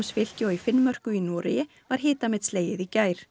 fylki og í Finnmörku í Noregi var hitamet slegið í gær